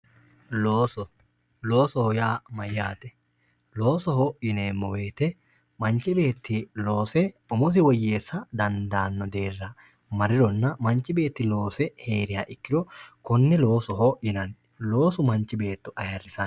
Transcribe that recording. Looso, loosoho yaa mayate loosoho yineemo woyite manchi beeti loose woyyeessa daandano deerra marironna manchi beeti loose heeriha ikkiro kone loosoho yinanni, loosu manchi beeto ayyirisanno